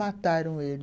Mataram ele...